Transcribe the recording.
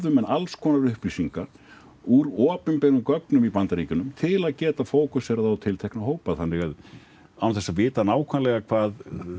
menn alls konar upplýsingar úr opinberum gögnum í Bandaríkjunum til að geta fókuserað á tiltekna hópa þannig án þess að vita nákvæmlega hvað